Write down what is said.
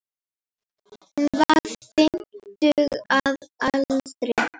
Hún var fimmtug að aldri.